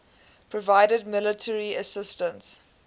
provided military assistance